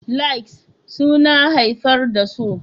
Likes suna haifar da so